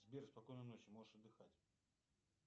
сбер спокойной ночи можешь отдыхать